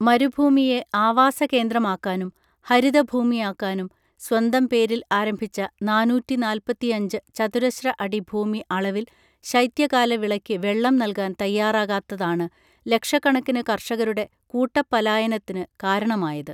മരുഭൂമിയെ ആവാസ കേന്ദ്രമാക്കാനും ഹരിത ഭൂമിയാക്കാനും സ്വന്തം പേരിൽ ആരംഭിച്ച നാനൂറ്റി നാൽപ്പത്തിയഞ്ച് ചതുരശ്ര അടി ഭൂമി അളവിൽ ശൈത്യകാല വിളയ്ക്ക് വെള്ളം നൽകാൻ തയ്യാറാകാത്തതാണ് ലക്ഷക്കണക്കിനു കർഷകരുടെ കൂട്ടപ്പലായനത്തിനു കാരണമായത്